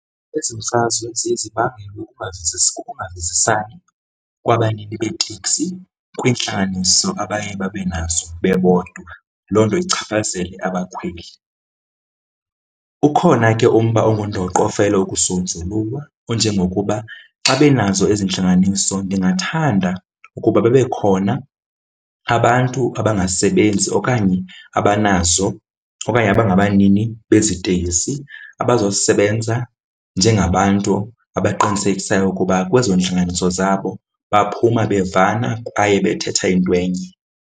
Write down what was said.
Ezi mfazwe ziye zibangele ukungavisisani kwabanini beeteksi kwiintlanganiso abaye babe nazo bebodwa, loo nto ichaphazele abakhweli. Ukhona ke umba olungundoqo ofenelwe ukusonjululwa onjengokuba xa benazo ezi intlanganiso, ndingathanda ukuba babekhona abantu abangasebenzi okanye abanazo okanye abangabanini bezi iteksi abazawusebenza njengabantu abaqinisekisayo ukuba kwezo ntlanganiso zabo baphuma bevana kwaye bethetha into enye.